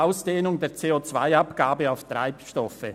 Ausdehnung der CO-Abgabe auf Treibstoffe.